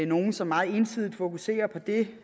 nogle som meget entydigt fokuserer på det